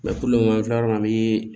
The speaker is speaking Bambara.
an filɛ yɔrɔ min na a bi